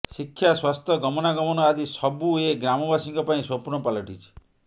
ଶିକ୍ଷା ସ୍ୱାସ୍ଥ୍ୟ ଗମନାଗମନ ଆଦି ସବୁ ଏ ଗ୍ରାମବାସୀଙ୍କ ପାଇଁ ସ୍ୱପ୍ନ ପାଲଟିଛି